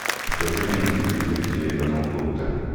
покажи мне на телевизоре телеканал доктор